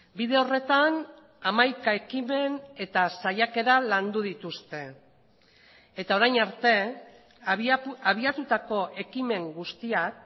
bide horretan hamaika ekimen eta saiakera landu dituzte eta orain arte abiatutako ekimen guztiak